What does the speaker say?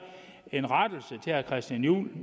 en rettelse til herre christian juhl